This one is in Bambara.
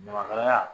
Ɲamakalaya